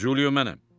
Culio mənəm.